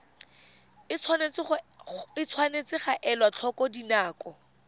tshwanetse ga elwa tlhoko dinako